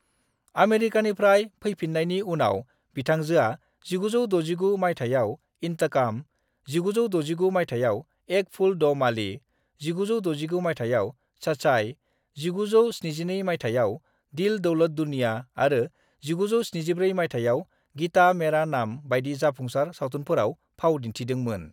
आमेरिकानिफ्राय फैपिननायनि उनाव बिथांजोआ 1969 माइथायाव इंताकम, 1969 माइथायाव एक फूल दो माली, 1969 माइथायाव सचाई, 1972 माइथायाव दिल दौलत दुनिया आरो 1974 माइथायाव गीता मेरा नाम बायदि जाफुंसार सावथुनफोराव फाव दिनथिदों मोन ।